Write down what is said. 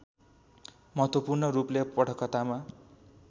महत्त्वपूर्ण रूपले पटकथामा